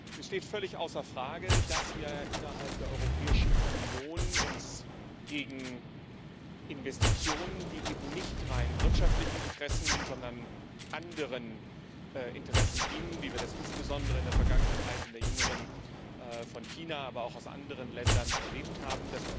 Es steht völlig außer Frage, dass wir uns innerhalb der Europäischen Union gegen Investitionen, die eben nicht rein wirtschaftlichen Interessen, sondern anderen Interessen dienen, wie wir das insbesondere in der jüngeren Vergangenheit von China, aber auch aus anderen Ländern erlebt haben,